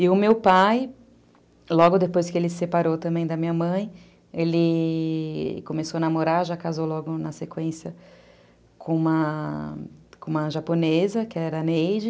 E o meu pai, logo depois que ele se separou também da minha mãe, ele começou a namorar, já casou logo na sequência com uma japonesa, que era a Neide.